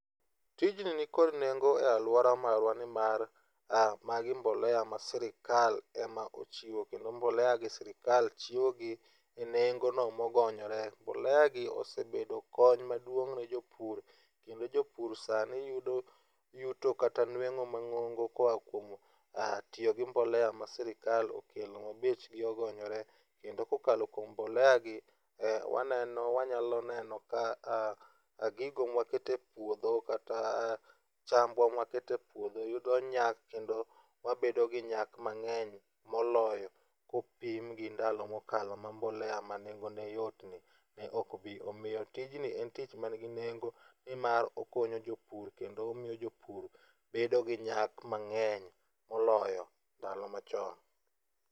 Tijni nikod nengo e aluora marwa nimar magi mbolea ma sirkal ema ochiwo kendo mbolea gi sirkal chiwogi enengono mogonyore. Mboleagi osebedo kony maduong' ne jopur kendo jopur sani yudo yuto kata nueng'o mang'ongo koa kuom tiyo gi mbolea ma sirkal okelo mabechgi ogonyore kendo kokalo kuom mboleagi waneno wanyalo neno kaka gigo ma waketo e puodho kata chambwa mawaketo e puodho yudo nyak kendo wabedo gi nyak mang'eny moloyo kopim gi ndalo mokalo ma mbolea ma nengone yotni ne ok obiro. Omiyo tijni en tich manigi nengo nimar okonyo jopur kendo omiyo jopur bedo gi nyak mang'eny moloyo ndalo machon.